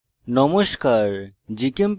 নমস্কার